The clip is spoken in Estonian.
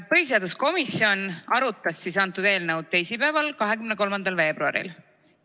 Põhiseaduskomisjon arutas eelnõu teisipäeval, 23. veebruaril.